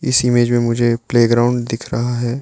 इस इमेज़ में मुझे प्लेग्राउंड दिख रहा है।